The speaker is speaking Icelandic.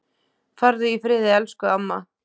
Farðu í friði elsku amma.